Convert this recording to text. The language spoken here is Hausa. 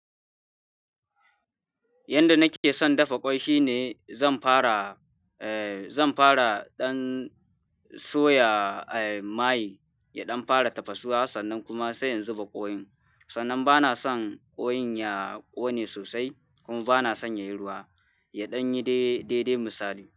Yanda nake son dafa ƙwai shine zan fara, eh zan fara ɗan soya, eh maye, ya ɗan fara tafasawa sannan kuma sai in zuba kwai. Sannan ba na son kwai ya ƙone sosai kuma ba na son yayi ruwa, ya ɗan yi dai, dai dai misali.